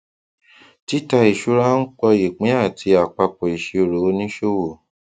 títà ìṣúra ń pọ ìpín àti àpapọ ìsirò òníṣòwò